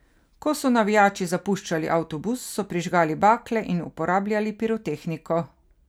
Ko so navijači zapuščali avtobus, so prižgali bakle in uporabljali pirotehniko.